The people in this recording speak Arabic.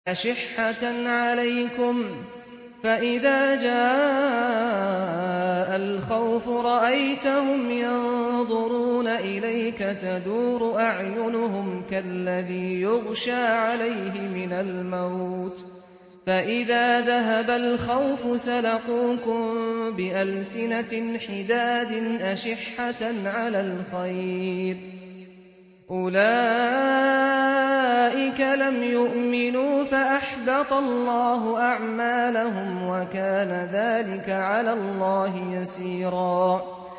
أَشِحَّةً عَلَيْكُمْ ۖ فَإِذَا جَاءَ الْخَوْفُ رَأَيْتَهُمْ يَنظُرُونَ إِلَيْكَ تَدُورُ أَعْيُنُهُمْ كَالَّذِي يُغْشَىٰ عَلَيْهِ مِنَ الْمَوْتِ ۖ فَإِذَا ذَهَبَ الْخَوْفُ سَلَقُوكُم بِأَلْسِنَةٍ حِدَادٍ أَشِحَّةً عَلَى الْخَيْرِ ۚ أُولَٰئِكَ لَمْ يُؤْمِنُوا فَأَحْبَطَ اللَّهُ أَعْمَالَهُمْ ۚ وَكَانَ ذَٰلِكَ عَلَى اللَّهِ يَسِيرًا